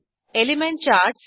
element charts